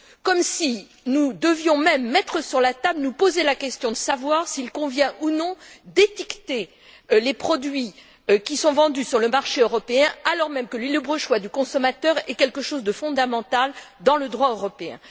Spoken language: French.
Comme si nous devions même nous poser la question de savoir s'il convient ou non d'étiqueter les produits vendus sur le marché européen alors même que le libre choix du consommateur est quelque chose de fondamental dans le droit européen.